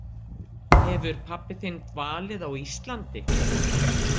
Hefur pabbi þinn dvalið á Íslandi?